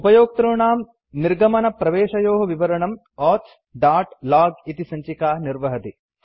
उपयोक्तॄणां निर्गमनप्रवेशयोः विवरणम् auth dot log इति सञ्चिका निर्वहति